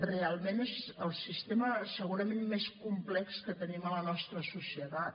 realment és el sistema segurament més complex que tenim a la nostra societat